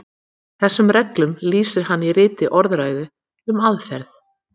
Þessum reglum lýsir hann í ritinu Orðræðu um aðferð.